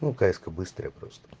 ну кс-ка быстрая просто